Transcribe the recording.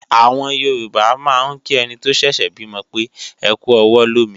Àwọn Yorùbá máa ń kí ẹni tó ṣẹ̀ṣẹ̀ bímọ pé "ẹkú ọwọ́ lómi"